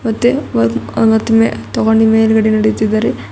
ಮತ್ತೆ ಒಂದ್ ಹತ್ ಮೇ ತಗೊಂಡಿ ಮೇಲ್ಗಡೆ ನಡೀತಾ ಇದ್ದಾರೆ.